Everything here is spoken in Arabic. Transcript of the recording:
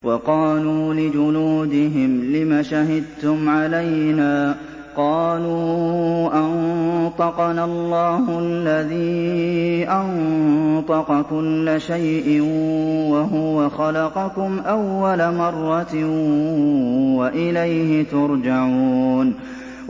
وَقَالُوا لِجُلُودِهِمْ لِمَ شَهِدتُّمْ عَلَيْنَا ۖ قَالُوا أَنطَقَنَا اللَّهُ الَّذِي أَنطَقَ كُلَّ شَيْءٍ وَهُوَ خَلَقَكُمْ أَوَّلَ مَرَّةٍ وَإِلَيْهِ تُرْجَعُونَ